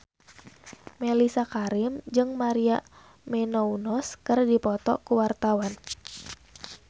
Mellisa Karim jeung Maria Menounos keur dipoto ku wartawan